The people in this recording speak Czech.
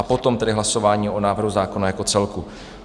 A potom tedy hlasování o návrhu zákona jako celku.